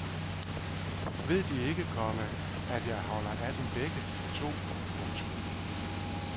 Ved de ikke, komma at jeg holder af dem begge to. punktum